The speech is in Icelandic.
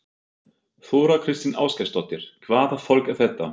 Þóra Kristín Ásgeirsdóttir: Hvaða fólk er þetta?